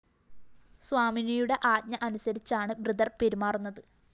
സ്വാമിനിയുടെ ആജ്ഞ അനുസരിച്ചാണു ഭൃത്യര്‍ പെരുമാറുന്നത്